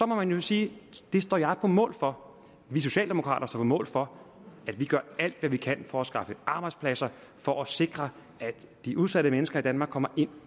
må man jo sige ja det står jeg på mål for vi socialdemokrater står mål for at vi gør alt hvad vi kan for at skaffe arbejdspladser for at sikre at de udsatte mennesker i danmark kommer ind